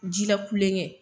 Ji la kulon kɛ.